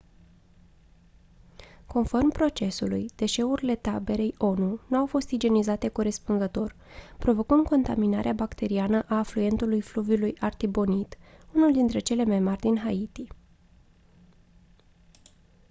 conform procesului deșeurile taberei onu nu au fost igienizate corespunzător provocând contaminarea bacteriană a afluentului fluviului artibonite unul dintre cele mai mari din haiti